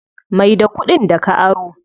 Mai da kuɗin da ka aro.